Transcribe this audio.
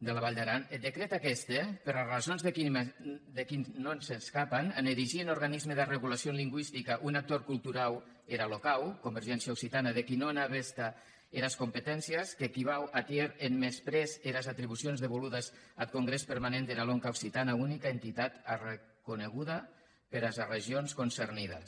de la vall d’aran eth decret aqueste per arrasons de qui ns’escapan en erigir en organisme d’arregulacion lingüistica un actor culturau hèra locau convergéncia occitana de qui no n’a veta eras competéncias qu’equivau a tier en mesprés eras atribucions devoludas ath congrès permanent dera lenca occitana unica entitat arreconeguda peras arregions concernidas